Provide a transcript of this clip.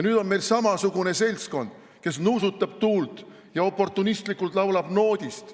Nüüd on meil samasugune seltskond, kes nuusutab tuult ja oportunistlikult laulab noodist.